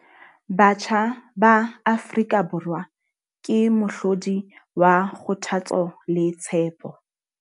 Batjha ba Afrika Borwa ke mohlodi wa kgothatso le tshepo.